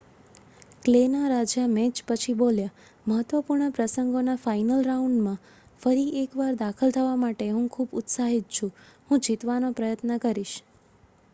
"Clay ના રાજા match પછી બોલ્યા "મહત્વપૂર્ણ પ્રસંગોના ફાઇનલ રાઉન્ડમાં ફરી એક વાર દાખલ થવા માટે હું ખુબ ઉત્સાહિત છુ હું જીતવાનો પ્રયત્ન કરીશ.